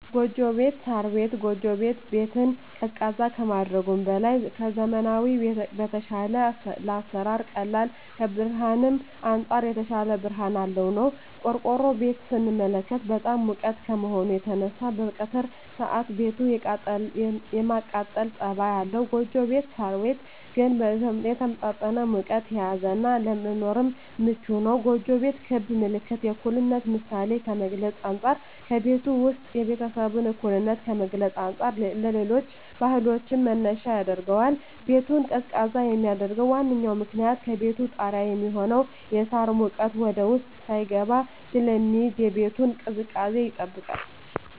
ጎጆ ቤት(ሳር ቤት)። ጎጆ ቤት ቤትን ቀዝቃዛ ከማድረጉም በላይ ከዘመናዊዉ በተሻለ ለአሰራር ቀላል ከብርሀንም አንፃር የተሻለ ብርሀን ያለዉ ነዉ። ቆርቆሮ ቤትን ስንመለከት በጣም ሙቅ ከመሆኑ የተነሳ በቀትር ሰአት ቤቱ የማቃጠል ፀባይ አለዉ ጎጆ ቤት (ሳር ቤት) ግን የተመጣጠነ ሙቀትን የያዘ እና ለመኖርም ምቹ ነዉ። ጎጆ ቤት ክብ ምልክት የእኩልነት ምሳሌን ከመግልፁ አንፃ ከቤቱ ዉስጥ የቤተሰቡን እኩልነት ከመግለፅ አንፃር ለሌሎች ባህሎችም መነሻ ያደርገዋል። ቤቱን ቀዝቃዛ የሚያደርገዉ ዋነኛዉ ምክንያት ከቤቱ ጣሪያ የሚሆነዉ የሳር ሙቀት ወደዉስጥ ሳይስገባ ስለሚይዝ የቤቱን ቅዝቃዜ ይጠብቃል።